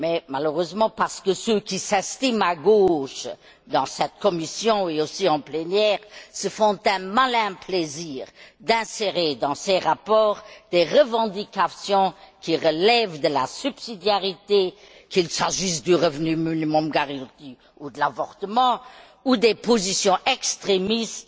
Malheureusement, parce que ceux qui s'estiment de gauche, dans cette commission mais aussi en plénière, se font un malin plaisir d'insérer dans ces rapports des revendications qui relèvent de la subsidiarité qu'il s'agisse du revenu minimum garanti ou de l'avortement ou des positions extrémistes